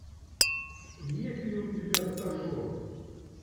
есть ли у тебя стажер